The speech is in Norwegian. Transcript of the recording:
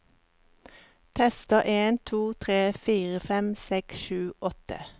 Tester en to tre fire fem seks sju åtte